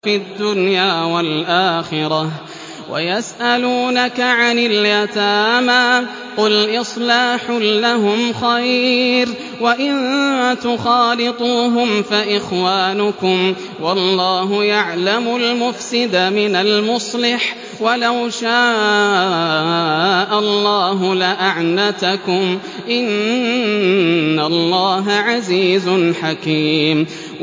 فِي الدُّنْيَا وَالْآخِرَةِ ۗ وَيَسْأَلُونَكَ عَنِ الْيَتَامَىٰ ۖ قُلْ إِصْلَاحٌ لَّهُمْ خَيْرٌ ۖ وَإِن تُخَالِطُوهُمْ فَإِخْوَانُكُمْ ۚ وَاللَّهُ يَعْلَمُ الْمُفْسِدَ مِنَ الْمُصْلِحِ ۚ وَلَوْ شَاءَ اللَّهُ لَأَعْنَتَكُمْ ۚ إِنَّ اللَّهَ عَزِيزٌ حَكِيمٌ